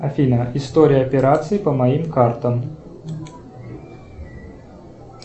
афина история операций по моим картам